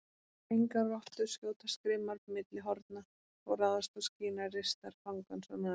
Engar rottur skjótast grimmar milli horna og ráðast á skinar ristar fangans og naga.